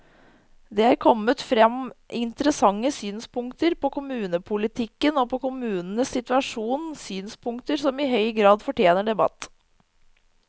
Det er kommet frem interessante synspunkter på kommunepolitikken og på kommunenes situasjon, synspunkter som i høy grad fortjener debatt.